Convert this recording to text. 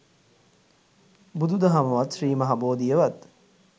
බුදු දහමවත් ශ්‍රී මහා බෝධියවත්